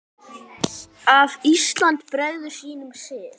að Ísland bregður sínum sið